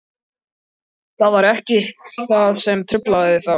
Það var ekkert sem truflaði þá.